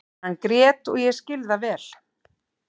Hann grét og ég skil það vel.